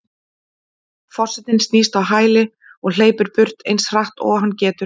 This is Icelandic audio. Forsetinn snýst á hæli og hleypur burt eins hratt og hann getur.